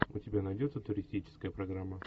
у тебя найдется туристическая программа